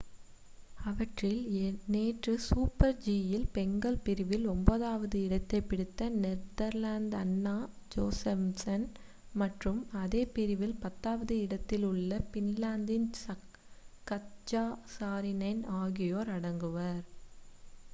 அவற்றில் நேற்று சூப்பர்-ஜி யில் பெண்கள் பிரிவில் ஒன்பதாவது இடத்தைப் பிடித்த நெதர்லாந்தின் அன்னா ஜோசெம்சன் மற்றும் அதே பிரிவில் பத்தாவது இடத்தில் உள்ள பின்லாந்தின் கத்ஜா சாரினென் ஆகியோர் அடங்குவர்